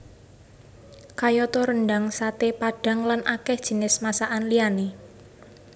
Kayata rendhang saté padhang lan akèh jinis masakan liyané